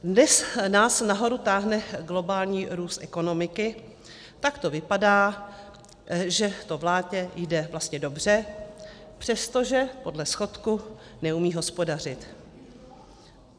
Dnes nás nahoru táhne globální růst ekonomiky, tak to vypadá, že to vládě jde vlastně dobře, přestože podle schodku neumí hospodařit.